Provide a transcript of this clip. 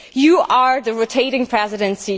You are the rotating Presidency.